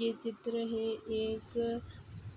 ये चित्र है एक